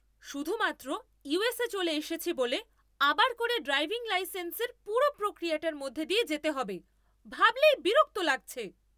শুধুমাত্র ইউএসে্‌ চলে এসেছি বলে আবার করে ড্রাইভিং লাইসেন্সের পুরো প্রক্রিয়াটার মধ্যে দিয়ে যেতে হবে, ভাবলেই বিরক্ত লাগছে।